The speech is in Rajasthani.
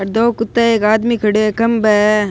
अठ दो कुता एक आदमी खड़ो है खंबा है।